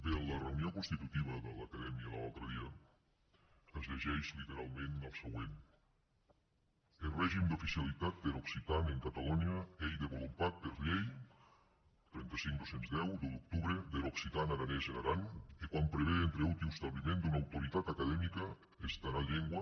bé en la reunió constitutiva de l’acadèmia de l’altre dia es llegeix literalment el següent eth regim d’oficialitat der occitan en catalonha ei devolupat per lei trenta cinc dos mil deu d’un d’octubre der occitan aranés en aran e quau prevé etre auti er establiment d’ua autoritat academica entara lenga